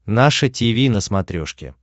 наше тиви на смотрешке